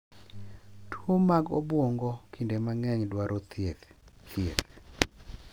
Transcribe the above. Tuwo mag obwongo kinde mang’eny dwaro thieth, thieth,